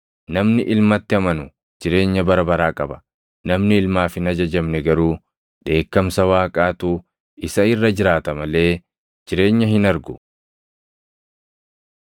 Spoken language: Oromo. Namni Ilmatti amanu jireenya bara baraa qaba; namni Ilmaaf hin ajajamne garuu dheekkamsa Waaqaatu isa irra jiraata malee jireenya hin argu.”